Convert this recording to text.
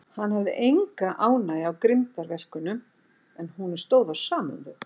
Hann hafði enga ánægju af grimmdarverkum, en honum stóð á sama um þau.